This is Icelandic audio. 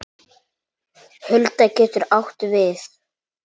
Hulda getur átt við